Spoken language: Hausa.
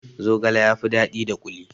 Zogale ya fi daɗi da kuli